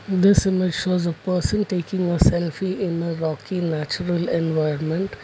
this image shows a person taking a selfie in a rocky natural environment.